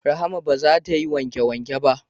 Rahma ba za ta yi wanke wanke ba